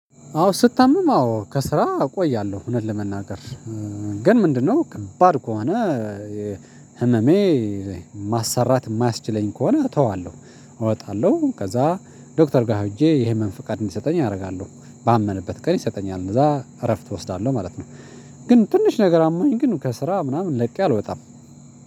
አዎ ስታምም አዎ ከስራ እቆያለሁ እውነት ለመናገር ግን ምንድነው? ከባድ ከሆነ ህመሜ ማሰራት የማያስችለኝ ከሆነ እተዋለሁ እወጣለሁ ከዛ ዶክተር ጋር ሄጄ ይሄን ፍቃድ እንዲሰጠኝ አደርጋለሁ ባመነበት ቀን ይሰጠኛል እንደዛ እረፍት እወስዳለሁ ማለት ነው። ግን ትንሽ ነገር አሞኝ ግን ከስራ ምናምን ለቅ አልወጣም።